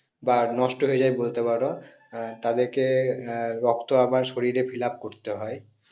বা নষ্ট হয়ে যাই বলতে পারো হ্যাঁ তাদেরকে রক্ত আবার আহ শরীরে fillup করতে হয়